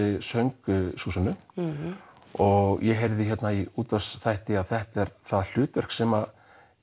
söng Súsönnu og ég heyrði í útvarpsþætti að þetta er það hlutverk sem